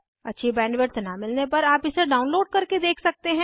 अच्छी बैंडविड्थ न मिलने पर आप इसे डाउनलोड करके देख सकते हैं